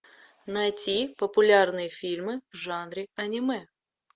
найти популярные фильмы в жанре аниме